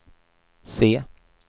C